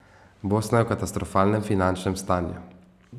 Bosna je v katastrofalnem finančnem stanju.